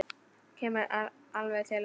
Kemur alveg til hans.